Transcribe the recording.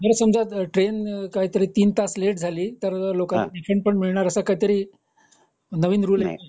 समजा ट्रेन काहीतरी तीन तास लेट झाली तर लोकाना रिफंड मिळणार असा काहीतरी असा नवीन रूल आहे